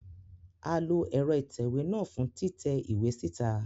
A lo ẹrọ itẹwe náà fun titẹ iwe sita